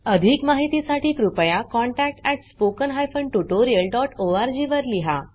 अधिक माहितीसाठी कृपया contact at spoken hyphen tutorial dot O R G वर लिहा